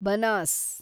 Banas